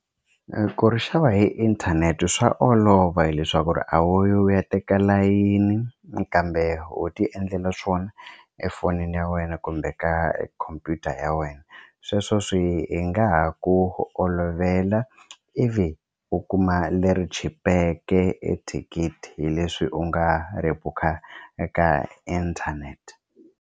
Ku ri xava hi inthanete swa olova hileswaku ri a wu yi u ya teka layini kambe wo tiendlela swona efonini ya wena kumbe ka khompyuta ya wena sweswo swi nga ha ku olovela ivi u kuma leri chipeke ethikithi hi leswi u nga ri bukha eka inthanete.